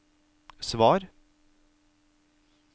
svar